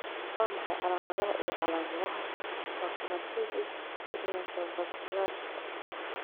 Waa maxay calaamadaha iyo calaamadaha phacomatosis pigmentovasculariska?